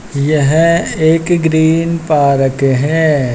यह एक green park है।